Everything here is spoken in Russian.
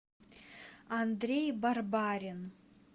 андрей барбарин